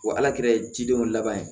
Wa ala kɛ ye jidenw laban ye